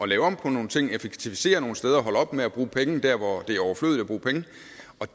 lave om på nogle ting effektivisere nogle steder holde op med at bruge penge der hvor